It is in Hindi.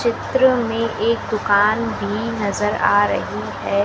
चित्र में एक दुकान भी नजर आ रही है।